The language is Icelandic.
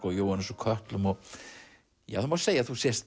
og Jóhannes úr kötlum það má segja að þú sért